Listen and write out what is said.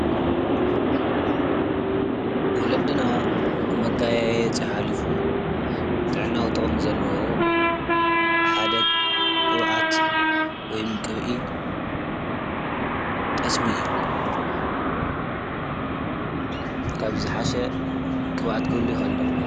መጋየፂ ማለት ሰባት ንምምልኻዕ ኢሎም ተወሳኺ ግብኣት ክጥቀሙ ኸለው እዩ። ንኣብነት:-ወርቂ፣ ሰዓት፣ ብሩር ካልኦትን